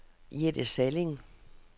Jette Salling